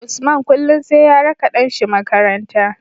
Usman kullun sai ya raka ɗan shi makaranta